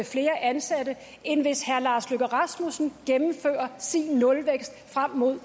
flere ansatte end hvis herre lars løkke rasmussen gennemfører sin nulvækst frem mod